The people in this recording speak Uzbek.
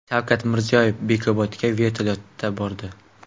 Shavkat Mirziyoyev Bekobodga vertolyotda bordi .